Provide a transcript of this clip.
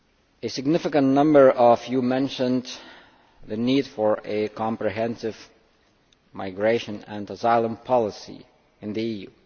A significant number of you mentioned the need for a comprehensive migration and asylum policy in the EU.